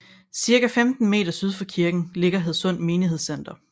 Cirka 15 meter syd for kirken ligger Hadsund Menighedscenter